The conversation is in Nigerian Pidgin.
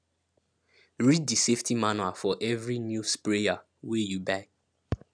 read the safety manual for every new sprayer wey you buy